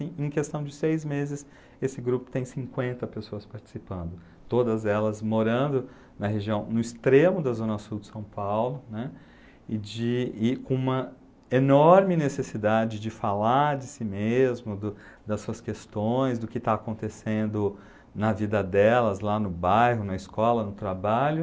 Em em questão de seis meses, esse grupo tem cinquenta pessoas participando, todas elas morando na região, no extremo da Zona Sul de São Paulo, né, e de e com uma enorme necessidade de falar de si mesmo, do das suas questões, do que está acontecendo na vida delas lá no bairro, na escola, no trabalho,